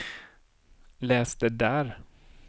läs det där